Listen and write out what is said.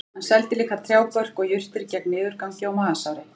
Hann seldi líka trjábörk og jurtir gegn niðurgangi og magasári